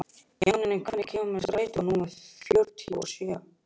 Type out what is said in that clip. Jannika, hvenær kemur strætó númer fjörutíu og sjö?